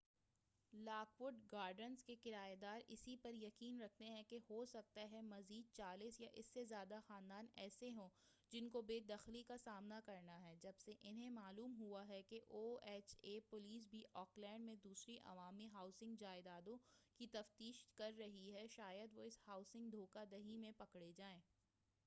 lock would Gardens کے کرایہ دار اس پر یقین رکھتے ہیں کہ ہو سکتا ہے مزید 40 یا اس سے زیادہ خاندان ایسے ہوں جن کو بے دخلی کا سامنا کرنا ہے جب سے انھیں معلوم ہو ہے کہ او ایچ اے پولیس بھی آکلینڈ میں دوسری عوامی ہاؤسنگ جائدادوں کی تفشیش کر رہی ہے شاید وہ اس ہاؤسنگ دھوکہ دہی میں پکڑے جائیں